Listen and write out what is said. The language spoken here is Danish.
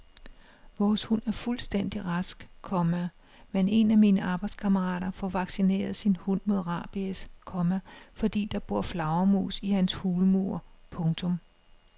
Vores hund er fuldstændig rask, komma men en af mine arbejdskammerater får vaccineret sin hund mod rabies, komma fordi der bor flagermus i hans hulmur. punktum